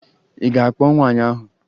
Ị ga-akpọ nwaanyị ahụ?